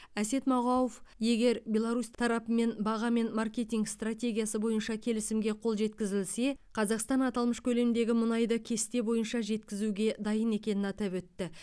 әсет мағауов егер беларусь тарапымен баға мен маркетинг стратегиясы бойынша келісімге қол жеткізілсе қазақстан аталмыш көлемдегі мұнайды кесте бойынша жеткізуге дайын екенін атап өтті